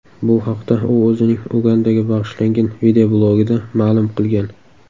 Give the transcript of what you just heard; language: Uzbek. Bu haqda u o‘zining Ugandaga bag‘ishlangan videoblogida ma’lum qilgan .